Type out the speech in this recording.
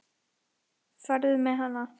Farðu með hana.